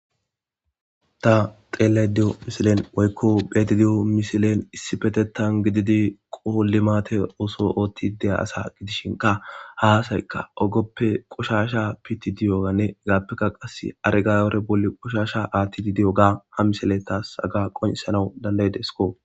Ta xelada diya missillen woykko betiddo diya missillen issiteththan limeade oththishe dizoga gidishin ha asatika ogeppe hegappenne agobore bolla qoshsha aththidi diyoga ha missiley tas haga qonccises.